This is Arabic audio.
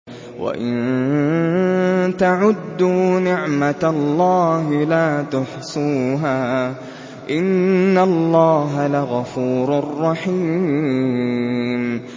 وَإِن تَعُدُّوا نِعْمَةَ اللَّهِ لَا تُحْصُوهَا ۗ إِنَّ اللَّهَ لَغَفُورٌ رَّحِيمٌ